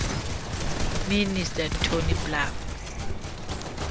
minister tony blair